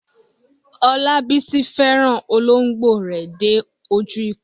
Olabisi fẹ́ràn olóńgbò rẹ̀ dé ojú ikú.